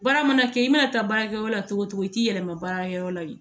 Baara mana kɛ i mana taa baarakɛyɔrɔ la cogo o cogo i t'i yɛlɛma baarakɛyɔrɔ la yen